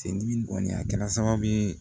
Seli kɔni a kɛra sababu ye